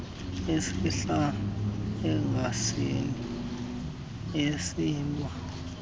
esehla egazini esilwa